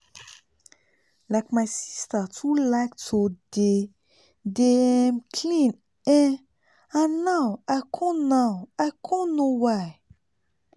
like my sister too like to dey dey um clean[um]and now i con now i con know why